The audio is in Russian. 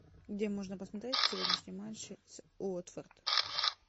где можно посмотреть сегодняшний матч с уотфорд